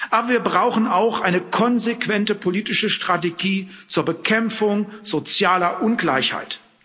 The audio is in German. Aber wir brauchen auch eine konsequente politische Strategie zur Bekämpfung sozialer Ungleichheit.